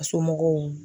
A somɔgɔw